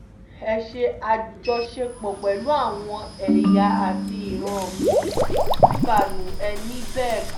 ẹ ṣe àjọṣepọ̀ pẹ̀lú àwọn ẹ̀yà àti ìran mi-ín mbanú ẹ̀ ní bẹ́ẹ̀ kọ́